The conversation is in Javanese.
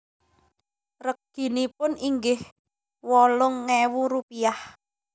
Reginipun inggih wolung ewu rupiah